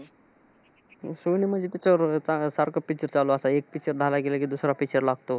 ते सोनीमध्ये त्याच्यावर सारखे picture चालू असतात. एक picture झालं कि लगेच दुसरा picture लागतो.